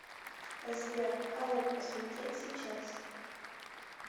сбер холоп посмотреть сейчас